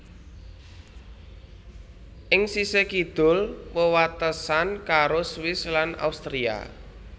Ing sisih kidul wewatesan karo Swiss lan Austria